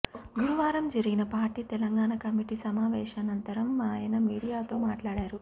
గురువారం జరిగిన party Telangana committee సమావేశానంతరం ఆయన మీడియాతో మాట్లాడారు